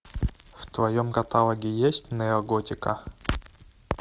в твоем каталоге есть неоготика